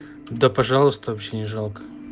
да пожалуйста вообще не жалко